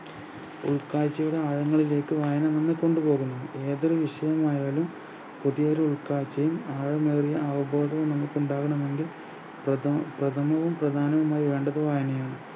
ഉൾക്കാഴ്ചയിൽ ആഴങ്ങളിലേക്ക് വായന നിങ്ങളെ കൊണ്ടു പോകുന്നു ഏതൊരു വിഷയമായാലും പുതിയൊരു ഉൾക്കാഴ്ചയും ആഴമേറിയ അവബോധ മനസ്സ് ഉണ്ടാകണമെങ്കിൽ പ്രദ പ്രദമവും പ്രധാനായി വേണ്ടത് വായനയാണ്